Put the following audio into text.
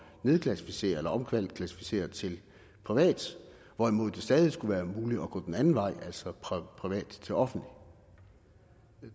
nedklassificere eller omklassificere til privat hvorimod det stadig skulle være muligt at gå den anden vej altså privat til offentligt